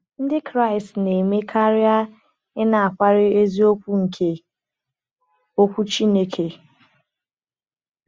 Ndị Kraịst na-eme karịa ịnakwere eziokwu nke Okwu Chineke.